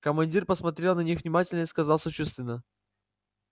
командир посмотрел на них внимательно и сказал сочувственно